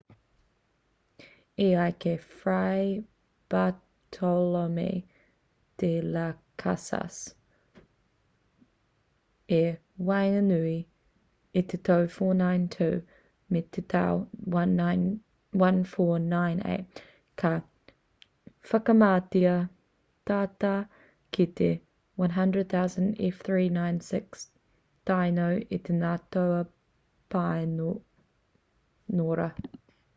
e ai ki fray bartolome de las casas tratado de las indias i waenganui i te tau 492 me te tau 1498 ka whakamatea tata ki te 100,000 f396tainos e ngā toa pāniora